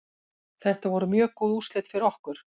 Þetta voru mjög góð úrslit hjá okkur.